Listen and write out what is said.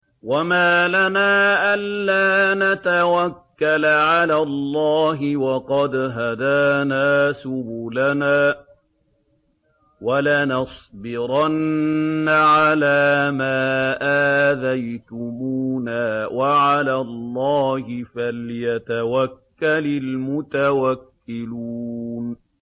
وَمَا لَنَا أَلَّا نَتَوَكَّلَ عَلَى اللَّهِ وَقَدْ هَدَانَا سُبُلَنَا ۚ وَلَنَصْبِرَنَّ عَلَىٰ مَا آذَيْتُمُونَا ۚ وَعَلَى اللَّهِ فَلْيَتَوَكَّلِ الْمُتَوَكِّلُونَ